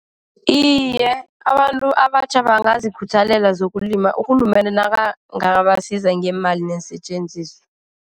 Iye, abantu abatjha bangazikhuthalela zokulima urhulumende nakangabasiza ngeemali neensetjenziswa.